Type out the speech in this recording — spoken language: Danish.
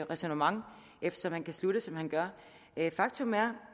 ræsonnement eftersom han kan slutte som han gør faktum er